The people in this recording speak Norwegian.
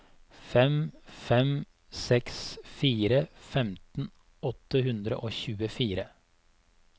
fem fem seks fire femten åtte hundre og tjuefire